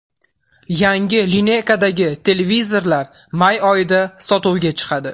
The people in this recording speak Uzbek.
Yangi lineykadagi televizorlar may oyida sotuvga chiqadi.